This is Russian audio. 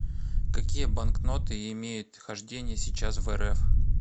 какие банкноты имеют хождение сейчас в рф